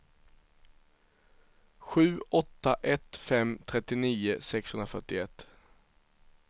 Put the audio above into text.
sju åtta ett fem trettionio sexhundrafyrtioett